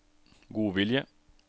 godvilje